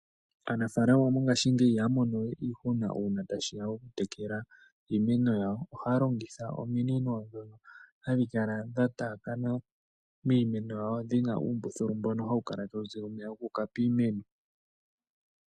Aanafalama mongashingeyi ihaya longowe nuudhigu ngele tashiya pokutekela iimeno yawo ohaya longitha ominino ndhono hadhi kala dha taakana miikunino dhina oombululu dhono hadhi piti omeya guuka piimeno.